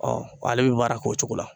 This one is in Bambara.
Ɔ ale bɛ baara kɛ o cogo la.